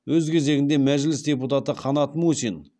өз кезегінде мәжіліс депутаты қанат мусин